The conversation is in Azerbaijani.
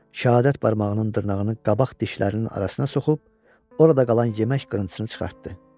Şəhadət barmağının dırnağını qabaq dişlərinin arasına soxub, orada qalan yemək qırıntısını çıxartdı.